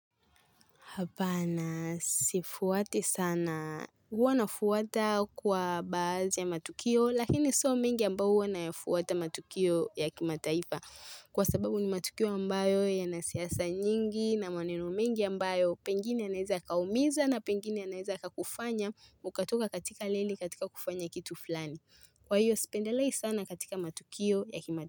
Hapana, sifuati sana. Huwa nafuata kwa baazi ya matukio, lakini sio mingi ambao huwa nayafuata matukio ya kimataifa. Kwa sababu ni matukio ambayo yana siasa nyingi na maneno mingi ambayo pengine yanaeza kaumiza na pengine yanaeza kakufanya mkatoka katika lili katika kufanya kitu fulani. Kwa hiyo, sipendelei sana katika matukio ya kimataifa.